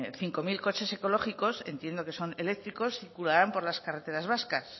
cinco mil coches ecológicos entiendo que son eléctricos circularán por las carreteras vascas